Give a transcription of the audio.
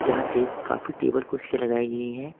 यहां टेब काफी टेबल कुर्सियां लगाई गई हैं।